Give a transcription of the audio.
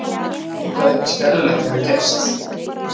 Veit að eitthvað skelfilegt hefur gerst.